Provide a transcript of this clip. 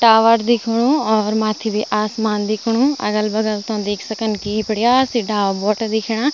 टावर दिखेणु और माथी भी आसमान दिखेणु अगल-बगल तों देख सकन की बडीया सी डाल बोटा दिखेणा।